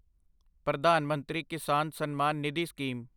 Pradhan Mantri Kisan Samman Nidhi scheme